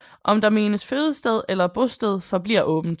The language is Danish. Om der menes fødested eller bosted forbliver åbent